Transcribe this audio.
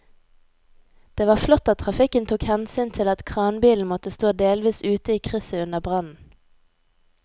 Det var flott at trafikken tok hensyn til at kranbilen måtte stå delvis ute i krysset under brannen.